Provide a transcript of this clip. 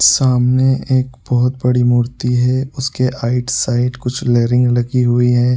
सामने एक बहुत बड़ी मूर्ति है उसके आईट साइड कुछ रेलिंग लगी हुई है।